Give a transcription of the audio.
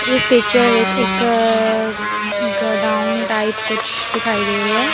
ਇਸ ਪਿਕਚਰ ਵਿੱਚ ਇੱਕ ਗਡਾਊਂਡ ਟਾਇਪ ਕੁਛ ਦਿਖਾਈ ਦੇ ਰਿਹਾ ਹੈ।